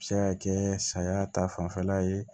A bɛ se ka kɛ saya ta fanfɛla ye